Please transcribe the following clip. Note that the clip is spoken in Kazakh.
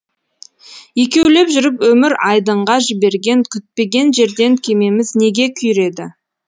екеулеп жүріп өмір айдынға жіберген күтпеген жерден кемеміз неге күйреді